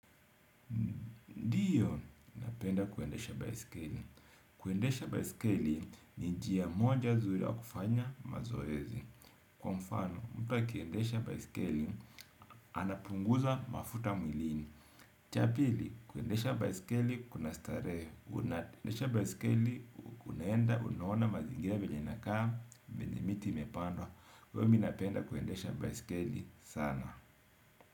Mi napenda kuendesha baiskeli. Kuendesha baiskeli ni njia moja nzuri ya kufanya mazoezi. Kwa mfano, mtu akiendesha baiskeli anapunguza mafuta mwilini. Cha pili, kuendesha baiskeli, kuna starehe. Unaendesha baiskeli, unaenda, unaona mazingira venye inakaa, vile miti imepandwa. Hivyo mi napenda kuendesha baiskeli sana.